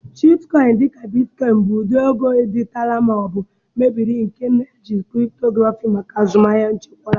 Cryptocurrency, dị ka Bitcoin, bụ ụdị ego dijitalụ ma ọ bụ mebere nke na-eji cryptography maka azụmahịa echekwara.